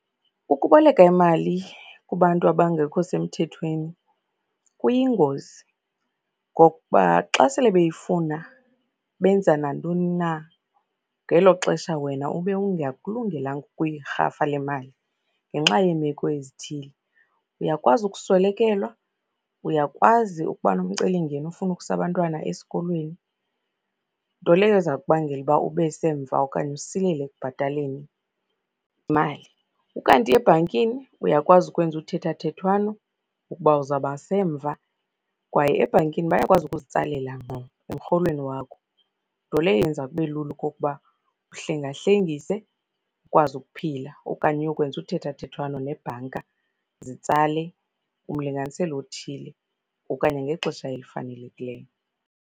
Ukuboleka imali kubantu abangekho semthethweni kuyingozi ngokuba xa sele beyifuna benza nantoni na, ngelo xesha wena ube ungakulungelanga ukuyirhafa le mali ngenxa yeemeko ezithile. Uyakwazi ukuswelekelwa, uyakwazi ukuba nomcelimngeni ofuna ukusa abantwana esikolweni, nto leyo eza kubangela uba ube semva okanye usilele ekubhataleni imali. Ukanti ebhankini uyakwazi ukwenza uthethathethwano ukuba uzaba semva. Kwaye ebhankini bayakwazi ukuzitsalela ngqo emrholweni wakho, nto leyo eyenza kube lula okokuba uhlengahlengise ukwazi ukuphila okanye uyokwenza uthethathethwano neebhanka, zitsale umlinganiselo othile okanye ngexesha elifanelekileyo.